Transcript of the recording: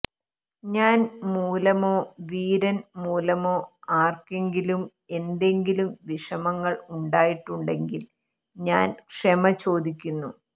ഞാൻ മൂലമോ വീരൻ മൂലമോ ആർക്കെങ്കിലും എന്തെങ്കിലും വിഷമങ്ങൾ ഉണ്ടായിട്ടുണ്ടെങ്കിൽ ഞാൻ ക്ഷമ ചോദിക്കുന്നു